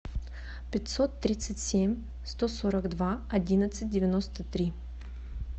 пятьсот тридцать семь сто сорок два одиннадцать девяносто три